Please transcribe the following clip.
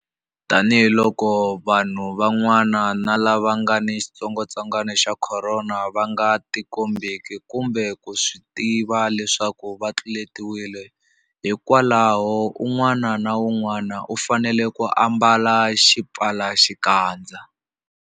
Tanihiloko vanhu van'wana lava nga ni xitsongwantsongwana xa Khorona va nga tikombeki kumbe ku swi tiva leswaku va tluletiwile, hikwalaho un'wana na un'wana u fanele ku ambala xipfalaxikandza.